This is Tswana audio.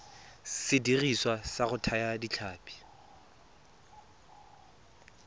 sediriswa sa go thaya ditlhapi